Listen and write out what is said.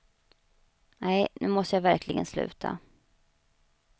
Nej, nu måste jag verkligen sluta.